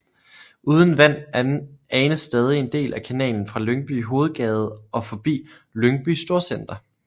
Uden vand anes stadig en del af kanalen fra Lyngby Hovedgade og forbi Lyngby Storcenter